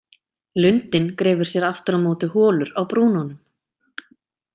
Lundinn grefur sér aftur á móti holur á brúnunum.